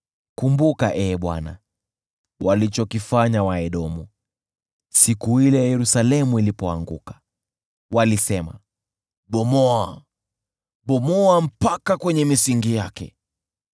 Kumbuka, Ee Bwana , walichokifanya Waedomu, siku ile Yerusalemu ilipoanguka. Walisema, “Bomoa, Bomoa mpaka kwenye misingi yake!”